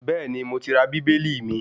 Bẹ́ẹ̀ni, mo ti ra Bíbélì mi